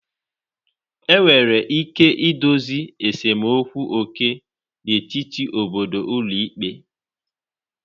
Enwere ike idozi esemokwu oke n'etiti obodo n'ụlọ ikpe.